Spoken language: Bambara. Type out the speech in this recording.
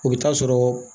O bɛ taa sɔrɔ